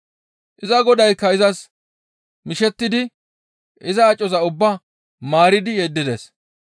Iza godaykka izas mishettidi iza acoza ubbaa maaridi yeddides.